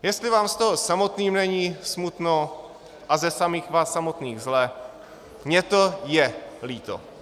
Jestli vám z toho samotným není smutno a ze samých vás samotných zle, mně to je líto.